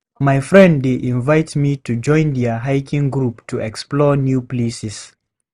My friend dey invite me to join their hiking group to explore new places.